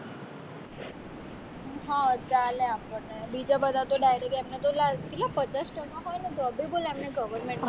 હ ચાલે આપણને બીજા બધા તો direct એમને તો કેટલા પચાસ ટકા હોય ને તો બી બોલ એમને government માં લાગી જાય